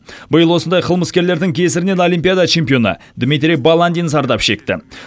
биыл осындай қылмыскерлердің кесірінен олимпиада чемпионы дмитрий баландин зардап шекті